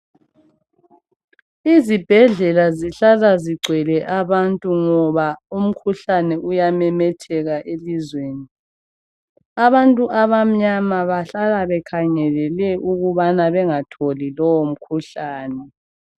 Izibhedlela zihlala zigcwele abantu ngoba umkhuhlane uyamemetheka elizweni. Abantu abamnyama bahlala bekhangelele ukubana bengatholi lowo mkhuhlane.